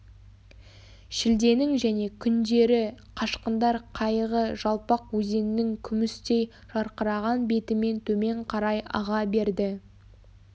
шілденің және күндері қашқындар қайығы жалпақ өзеннің күмістей жарқыраған бетімен төмен қарай аға берді